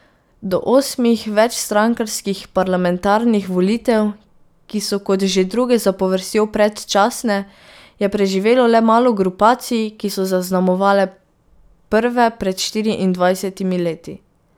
Do osmih večstrankarskih parlamentarnih volitev, ki so kot že druge zapovrstjo predčasne, je preživelo le malo grupacij, ki so zaznamovale prve pred štiriindvajsetimi leti.